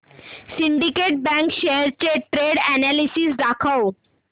Syndicate Bank shares चे trend analysis दाखव